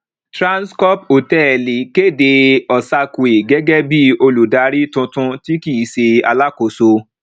trannscorp hòtẹẹlì kéde osakwe gẹgẹ bí olùdárí tuntun tí kìí ṣe alákóso